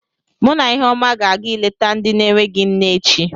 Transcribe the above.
Mụ na Iheọma ga-aga ịlete ndị na-enweghị nne echi.